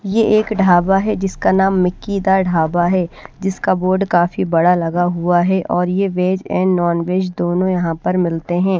यह एक ढाबा है जिसका नाम मिकी दा ढाबा है जिसका बोर्ड काफी बड़ा लगा हुआ है और यह वेज एंड नॉन वेज दोनों यहां पर मिलते हैं।